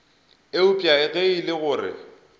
eupša ge e le gore